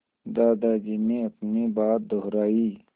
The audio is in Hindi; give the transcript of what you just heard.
दादाजी ने अपनी बात दोहराई